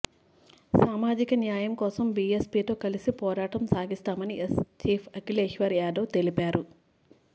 సామాజిక న్యాయం కోసం బీఎస్పీతో కలిసి పోరాటం సాగిస్తామని ఎస్ చీఫ్ అఖిలేశ్యాదవ్ తెలిపారు